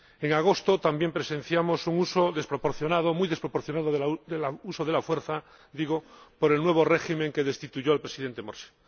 En agosto también presenciamos un uso desproporcionado —muy desproporcionado— de la fuerza por el nuevo régimen que destituyó al Presidente Morsi.